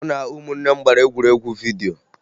Mụ na ụmụnne m gbara egwuregwu vidyo